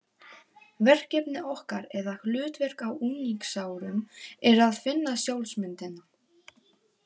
Verkefni okkar eða hlutverk á unglingsárum er að finna sjálfsmyndina.